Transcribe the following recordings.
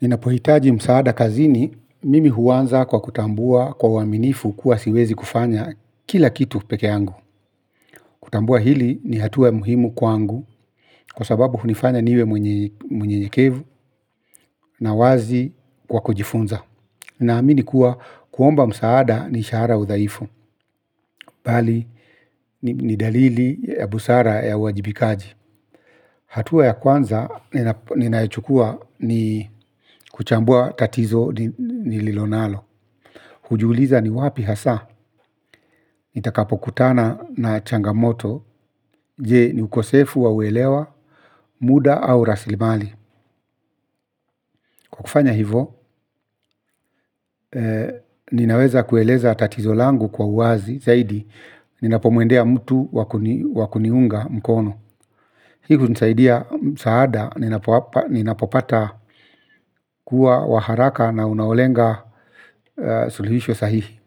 Ninapohitaji msaada kazini mimi huanza kwa kutambua kwa uaminifu kuwa siwezi kufanya kila kitu peke yangu. Kutambua hili ni hatua ya muhimu kwangu kwa sababu hunifanya niwe mwenye mnyenyekevu na wazi kwa kujifunza. Naamini kuwa kuomba msaada si ishara ya udhaifu mbali ni dalili ya busara ya uwajibikaji. Hatua ya kwanza, ninayochukua ni kuchambua tatizo nililonalo. Hujiuliza ni wapi haswa, nitakapokutana na changamoto, je ni ukosefu wa uelewa, muda au raslimali. Kwa kufanya hivo, ninaweza kueleza tatizo langu kwa uwazi zaidi, ninapomuendea mtu wakuniunga mkono. Hi hunsaidia msaada, ninapopata kuwa wa haraka na unaolenga suluhisho sahihi.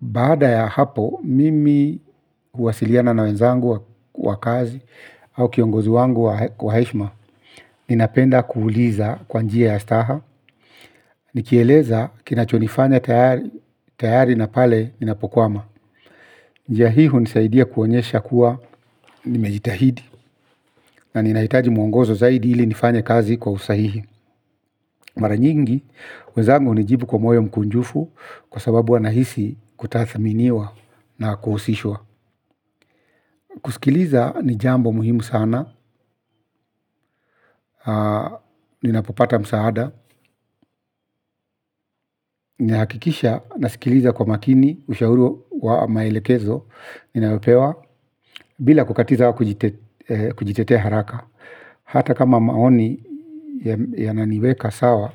Bada ya hapo, mimi huwasiliana na wenzangu wa kazi au kiongozi wangu kwa heshima. Ninapenda kuuliza kwanjia staha. Nikieleza kinachonifanya tayari na pale ninapokwama. Njia hii hunisaidia kuonyesha kuwa nimejitahidi. Na ninahitaji mwongozo zaidi ili nifanye kazi kwa usahihi. Mara nyingi, wenzangu hunijibu kwa moyo mkunjufu. Kwa sababu wanahisi kutathminiwa na kuhusishwa kusikiliza ni jambo muhimu sana, ninapopata msaada, nnahakikisha nasikiliza kwa makini, ushauri wa maelekezo, ninayopewa, bila kukatiza kujitetea haraka. Hata kama maoni yananiweka sawa,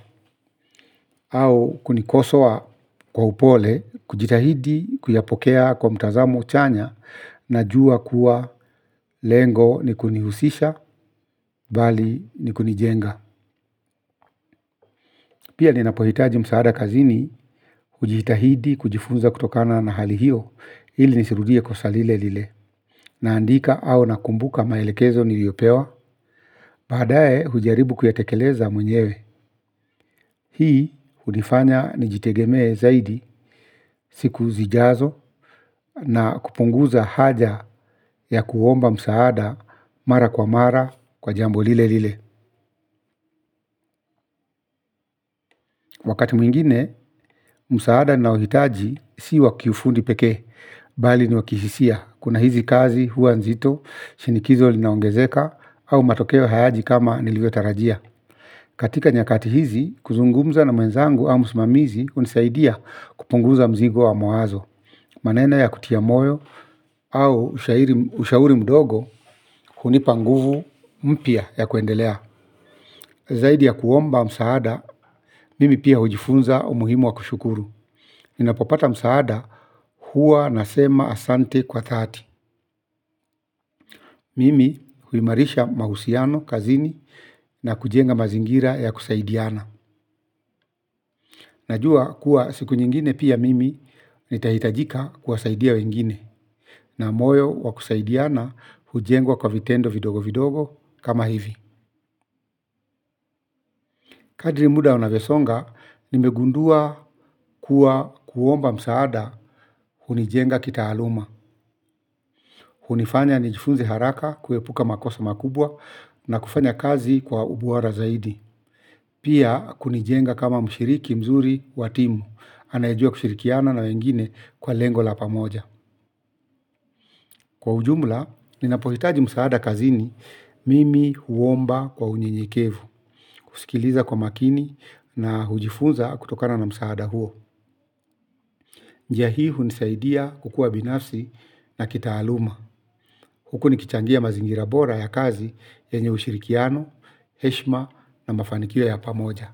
au kunikosoa kwa upole, kujitahidi, kuyapokea kwa mtazamo chanya, najua kuwa lengo ni kunihusisha, mbali na kunijenga. Pia ninapohitaji msaada kazini hujitahidi kujifunza kutokana na hali hiyo ili nisirudie kosa lile lile naandika au nakumbuka maelekezo niliyopewa. Badaaye hujaribu kuyatekeleza mwenyewe. Hii hunifanya nijitegemee zaidi siku zijazo na kupunguza haja ya kuomba msaada mara kwa mara kwa jambo lile lile. Wakati mwingine, msaada nnaohitaji si wakifundi pekee, bali ni wakihisia. Kuna hizi kazi huwa nzito, shinikizo linaongezeka, au matokeo hayaji kama nilivyo tarajia. Katika nyakati hizi, kuzungumza na mwenzangu au msmamizi hunisaidia kupunguza mzigo wa mawazo. Maneno ya kutia moyo au ushauri mdogo hunipa nguvu mpya ya kuendelea. Zaidi ya kuomba msaada, mimi pia hujifunza umuhimu wa kushukuru. Ninapopata msaada huwa nasema asante kwa dhati. Mimi huimarisha mahusiano kazini na kujenga mazingira ya kusaidiana. Najua kuwa siku nyingine pia mimi nitahitajika kuwasaidia wengine. Na moyo wakusaidiana hujengwa kwa vitendo vidogo vidogo kama hivi. Kadri muda unavyosonga nimegundua kuwa kuomba msaada hunijenga kitaaluma, hunifanya nijifunze haraka kuepuka makosa makubwa na kufanya kazi kwa ubora zaidi. Pia kunijenga kama mshiriki mzuri watimu, anayejua kushirikiana na wengine kwa lengo la pamoja. Kwa ujumla, ninapohitaji msaada kazini, mimi huomba kwa unyenyekevu, kusikiliza kwa makini na hujifunza kutokana na msaada huo. Njia hii hunisaidia kukua binafsi na kitaaluma. Huku nikichangia mazingira bora ya kazi yenye mashirikiano, heshima na mafanikio ya pamoja.